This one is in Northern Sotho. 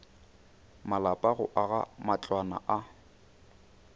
malapa go aga matlwana a